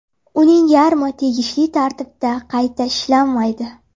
Uning yarmi tegishli tartibda qayta ishlanmaydi.